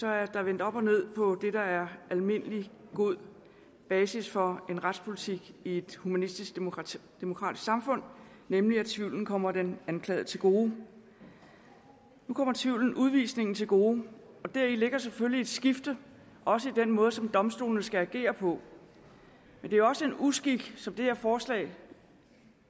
er der vendt op og ned på det der er almindelig god basis for en retspolitik i et humanistisk demokratisk demokratisk samfund nemlig at tvivlen kommer den anklagede til gode nu kommer tvivlen udvisningen til gode og deri ligger selvfølgelig et skifte også i den måde som domstolene skal agere på men det er også en uskik som det her forslag